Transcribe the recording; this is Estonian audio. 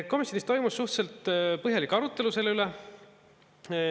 Komisjonis toimus suhteliselt põhjalik arutelu selle üle.